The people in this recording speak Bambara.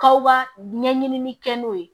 Kaw ba ɲɛɲini kɛ n'o ye